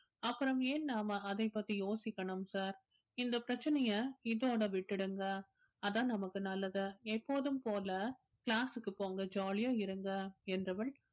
அப்புறம் ஏன் நாம அதை பத்தி யோசிக்கணும் sir இந்த பிரச்சனைய இதோட விட்டுடுங்க அதான் நமக்கு நல்லது எப்போதும் போல class க்கு போங்க jolly அ இருங்க என்றவள்